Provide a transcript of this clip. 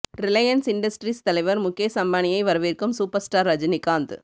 Reliance Industries தலைவர் முகேஷ் அம்பானியை வரவேற்கும் சூப்பர் ஸ்டார் ரஜினிகாந்த்